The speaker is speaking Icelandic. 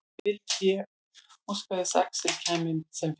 Mikið vildi ég óska þess að Axel kæmi sem fyrst heim.